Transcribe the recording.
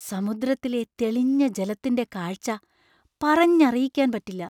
സമുദ്രത്തിലെ തെളിഞ്ഞ ജലത്തിന്‍റെ കാഴ്ച പറഞ്ഞറിയിക്കാൻ പറ്റില്ല !